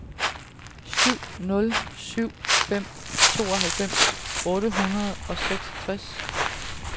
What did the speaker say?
syv nul syv fem tooghalvfems otte hundrede og seksogtres